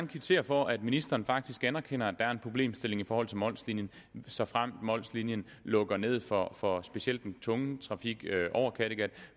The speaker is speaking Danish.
kvittere for at ministeren faktisk anerkender at der er en problemstilling i forhold til mols linien såfremt mols linien lukker ned for for specielt den tunge trafik over kattegat